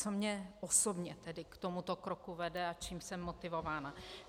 Co mě osobně tedy k tomuto kroku vede a čím jsem motivována?